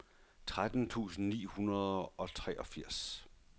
tretten tusind ni hundrede og treogfirs